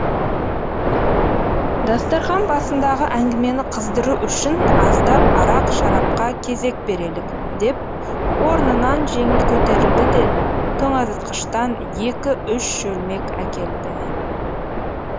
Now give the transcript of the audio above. дастархан басындағы әңгімені қыздыру үшін аздап арақ шарапқа кезек берелік деп орнынан жеңіл көтерілді де тоңазытқыштан екі үш шөлмек әкелді